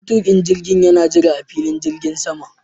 Matuƙin jirgin yana jira a filin jirgin saman.